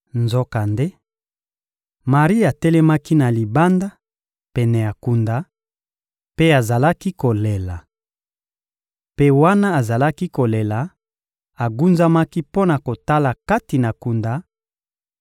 Nzokande, Mari atelemaki na libanda, pene ya kunda, mpe azalaki kolela. Mpe wana azalaki kolela, agunzamaki mpo na kotala kati na kunda;